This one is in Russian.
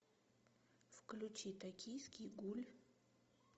включи токийский гуль